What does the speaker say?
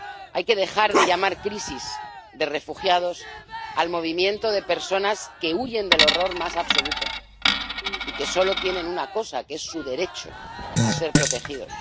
Hay que dejar de llamar crisis de refugiados al movimiento de personas que huyen del horror más absoluto y que solo tienen una cosa, que es su derecho a ser protegidos.